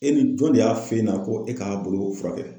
E ni jɔn de y'a f'e ɲɛna ko e k'a boloko furakɛ?